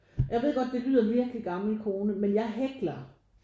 Jeg ved godt det lyder virkelig gammel kone men jeg hækler